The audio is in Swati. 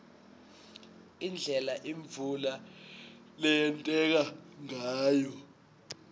indlela imvula leyenteka ngayo